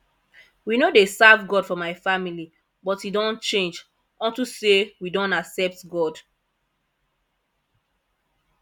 we no dey serve god for my family but e don change unto say we don accept god